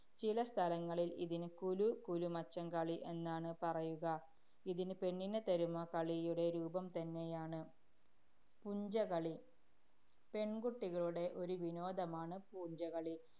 ചില സ്ഥലങ്ങളില്‍ ഇതിന് കുലു കുലുമച്ചം കളി എന്നാണ് പറയുക. ഇതിന് പെണ്ണിനെത്തരുമോ കളി യുടെ രൂപം തന്നെയാണ് പുഞ്ചകളി. പെണ്‍കുട്ടികളുടെ ഒരു വിനോദമാണ് പൂഞ്ചകളി.